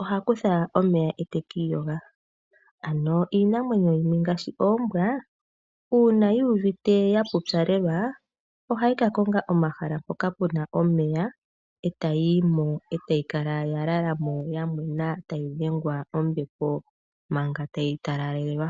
oha kutha omeya e te ki iyoga. Ano iinamwenyo yimwe ngaashi oombwa uuna yu uvite ya pupyalelwa ohayi ka konga omahala hoka ku na omeya, e ta yi yimo e tayi kala ya lala mo tayi dhengwa kombepo manga ta yi talalelwa.